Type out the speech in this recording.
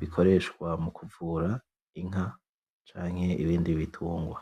bikoreshwa mukuvura inka canke ibindi bitungwa.